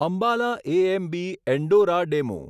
Ambala AMB Andaura DEMU